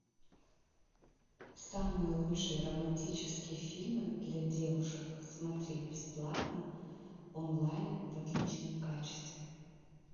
самые лучшие романтические фильмы для девушек смотреть бесплатно онлайн в отличном качестве